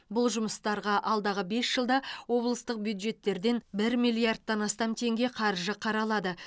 бұл жұмыстарға алдағы бес жылда облыстық бюджеттерден бір миллиардтан астам теңге қаржы қаралады